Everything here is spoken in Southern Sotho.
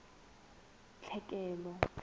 tlhekelo